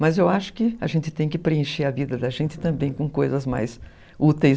Mas eu acho que a gente tem que preencher a vida da gente também com coisas mais úteis.